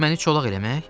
Məni çolaq eləmək?